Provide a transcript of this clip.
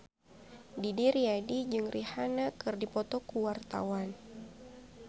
Didi Riyadi jeung Rihanna keur dipoto ku wartawan